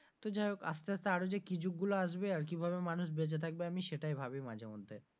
তো যাই হোক আস্তে আস্তে আরো যে কি যুগ গুলো আসবে, আর কিভাবে মানুষ বেঁচে থাকবে আমি সেটাই ভাবি মাঝেমধ্যে।